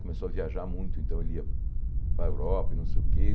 Começou a viajar muito, então ele ia para a Europa e não sei o quê.